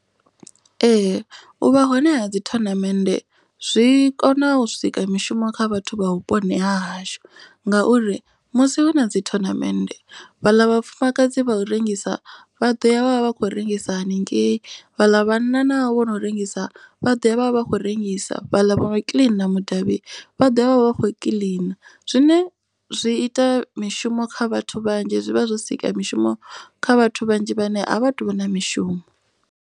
Ee u vha hone ha dzi thonamennde zwi kona u sika mishumo kha vhathu vha vhuponi ha hashu. Ngauri musi hu na dzi thonamennde vhaḽa vhafumakadzi vha u rengisa vha ḓo ya vhavha vha khou rengisa haningei. Vhaḽa vhanna navho vhono rengisa vha ḓo ya vhavha vha khou rengisa vhaḽa vho kiḽina mudavhi vha ḓovha vha vha vha kho kiḽina. Zwine zwi ita mishumo kha vhathu vhanzhi zwivha zwo sika mishumo kha vhathu vhanzhi vhane a vha tu vha na mishumo.